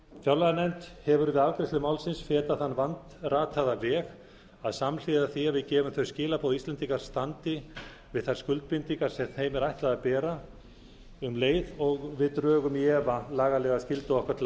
fjárlaganefnd hefur við afgreiðslu þess fetað þann vandrataða veg að samhliða því sem við sendum þau skilaboð að íslendingar standi við þær skuldbindingar sem þeim er ætlað að bera drögum við um leið í efa lagalega skyldu okkar til